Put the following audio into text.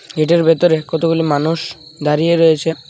গেটের ভেতরে কতগুলি মানুষ দাঁড়িয়ে রয়েছে .